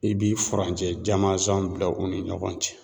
I bi furancɛ jamanzan bila u ni ɲɔgɔn cɛ.